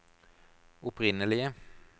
opprinnelige